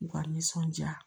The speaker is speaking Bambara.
U ka nisɔndiya